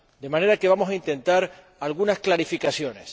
De manera que vamos a intentar algunas clarificaciones.